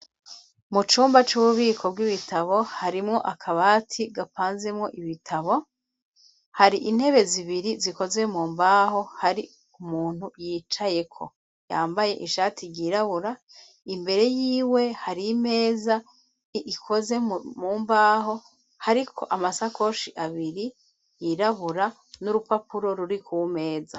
Mu cumba c'ububiko bw'ibitabo harimwo akabati gapanzemo ibitabo .Hari intebe zibiri zikoze mu mbaho hari umuntu yicaye ko yambaye ishati ryirabura. Imbere y'iwe hari imeza ikoze mu mbaho hariko amasakoshi abiri yirabura n'urupapuro ruri ku meza.